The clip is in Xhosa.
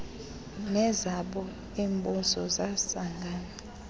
nezabo iimbuso zasangana